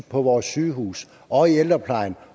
på vores sygehuse og i ældreplejen